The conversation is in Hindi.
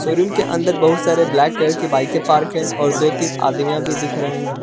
शोरूम के अंदर बहुत सारे ब्लैक कलर के बाइके पार्क है। और दो-तीन आदमिया भी दिख रहे है।